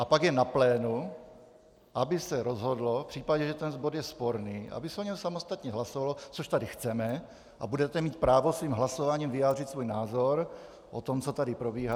A pak je na plénu, aby se rozhodlo v případě, že ten bod je sporný, aby se o něm samostatně hlasovalo, což tady chceme, a budete mít právo svým hlasováním vyjádřit svůj názor o tom, co tady probíhá.